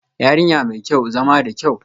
Yarinya mai kyau, zama da kyau